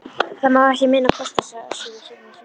Það má ekki minna kosta, sagði Össur við sjálfan sig.